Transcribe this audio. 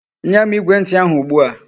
Nyem Igwe nti ahu ugbua